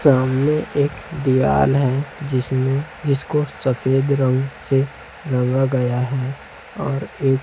सामने एक दीवार है जिसमें जिसको सफेद रंग से रंगा गया हैं और एक--